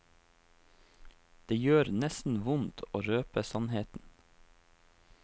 Det gjør nesten vondt å røpe sannheten.